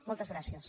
moltes gràcies